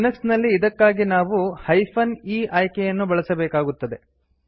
Linux ನಲ್ಲಿ ಇದಕ್ಕಾಗಿ ನಾವು e ಹೈಫನ್ ಇಆಯ್ಕೆಯನ್ನು ಬಳಸಬೇಕಾಗುತ್ತದೆ